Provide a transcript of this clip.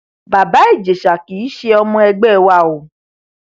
bàbá ìjẹsà kì í ṣe ọmọ ẹgbẹ wa o